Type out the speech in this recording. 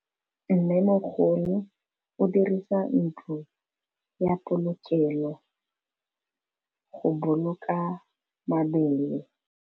Mmêmogolô o dirisa ntlo ya polokêlô, go boloka mabele.